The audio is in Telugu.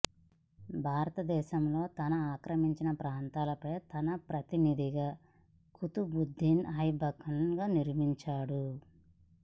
భారతదేశంలో తను ఆక్రమించిన ప్రాంతాలపై తన ప్రతినిధిగా కుతుబుద్దీన్ ఐబక్ను నియమించాడు